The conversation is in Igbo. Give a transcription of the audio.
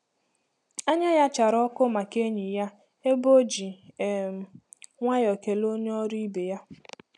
Anya ya chárá ọkụ maka enyi ya, ebe o ji um nwayọọ kelee onye ọrụ ibe ya.